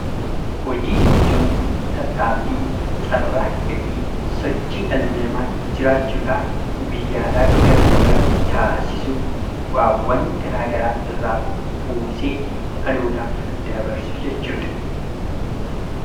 Hojii jechuun tattaaffii, carraaqqii fi sosochii dhalli namaa jiraachuudhaaf guyyaadhaa gara guyyaatiitti taasisu, bu'aawwan garaa garaa irraa buusee dhalootaaf dabarsu jechuudha.